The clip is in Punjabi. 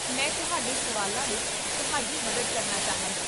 ਮੈਂ ਤੁਹਾਡੇ ਸਵਾਲਾਂ ਵਿੱਚ ਤੁਹਾਡੀ ਮਦਦ ਕਰਨਾ ਚਾਹਾਂਗਾ